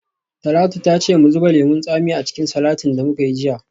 Talatu ta ce mu zuba lemon tsami a cikin salatin da muka yi jiya.